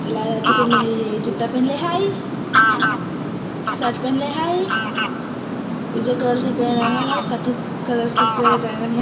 लाल अथी पहनले हई जुत्ता पहनले हई शर्ट पहनले हई उजर कलर से पेड़ रंगल हई कत्थक कलर से पेड़ रंगल हई।